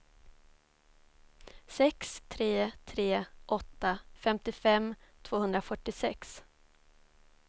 sex tre tre åtta femtiofem tvåhundrafyrtiosex